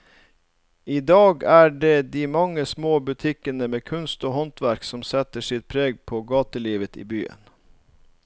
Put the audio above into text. I dag er det de mange små butikkene med kunst og håndverk som setter sitt preg på gatelivet i byen.